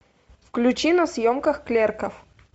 включи на съемках клерков